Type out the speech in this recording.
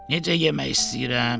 Necə yemək istəyirəm.